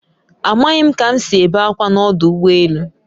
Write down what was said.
A maghị m ka m si ebe akwa na ọdụ ụgbọ elu